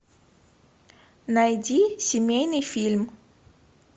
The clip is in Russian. найди семейный фильм